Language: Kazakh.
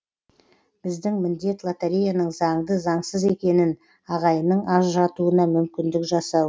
біздің міндет лотореяның заңды заңсыз екенін ағайынның ажыратуына мүмкіндік жасау